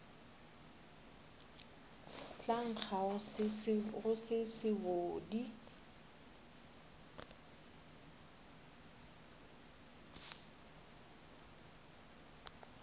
tla nkga go se sebodi